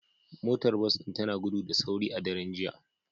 Motar bas din tana gudu da sauri a daren jiya